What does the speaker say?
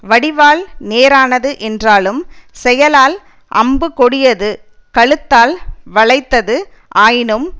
வடிவால் நேரானது என்றாலும் செயலால் அம்பு கொடியது கழுத்தால் வளைத்தது ஆயினும்